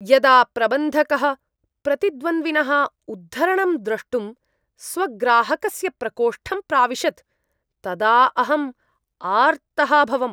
यदा प्रबन्धकः प्रतिद्वन्द्विनः उद्धरणं द्रष्टुं स्वग्राहकस्य प्रकोष्ठं प्राविशत् तदा अहं आर्तः अभवम्।